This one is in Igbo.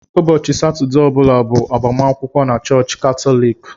Ụbọchị Satọdee ọ bụla bụ agbamakwụkwọ na chọọchị Katọlik.